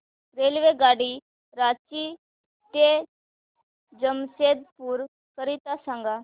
रेल्वेगाडी रांची ते जमशेदपूर करीता सांगा